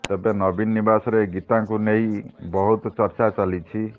ତେବେ ନବୀନ ନିବାସରେ ଗୀତାଙ୍କୁ ନେଇ ବହୁ ଚର୍ଚ୍ଚା ଚାଲିଛି